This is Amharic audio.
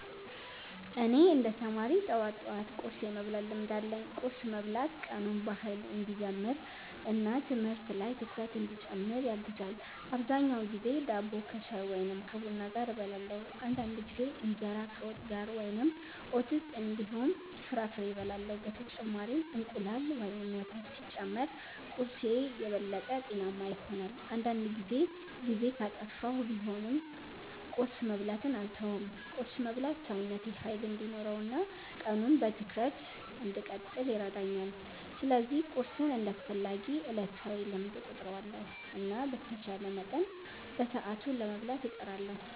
እኔ እንደ ተማሪ ጠዋት ጠዋት ቁርስ የመብላት ልምድ አለኝ። ቁርስ መብላት ቀኑን በኃይል እንዲጀምር እና ትምህርት ላይ ትኩረት እንዲጨምር ያግዛል። አብዛኛውን ጊዜ ዳቦ ከሻይ ወይም ከቡና ጋር እበላለሁ። አንዳንድ ጊዜ እንጀራ ከወጥ ጋር ወይም ኦትስ እንዲሁም ፍራፍሬ እበላለሁ። በተጨማሪም እንቁላል ወይም ወተት ሲጨመር ቁርስዬ የበለጠ ጤናማ ይሆናል። አንዳንድ ጊዜ ጊዜ ካጠፋሁ ቢሆንም ቁርስ መብላትን አልተውም። ቁርስ መብላት ሰውነቴ ኃይል እንዲኖረው እና ቀኑን በትኩረት እንድቀጥል ይረዳኛል። ስለዚህ ቁርስን እንደ አስፈላጊ ዕለታዊ ልምድ እቆጥራለሁ እና በተቻለ መጠን በሰዓቱ ለመብላት እጥራለሁ።